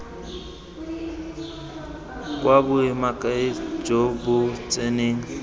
kwa boemakepe jo bo tseneng